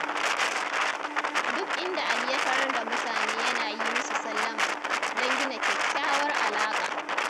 Duk inda Ali ya tarar da mutane yana yi musu sallama, don gina kyakkyawar alaƙa.